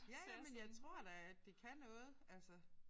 Ja ja men jeg tror da at det kan noget altså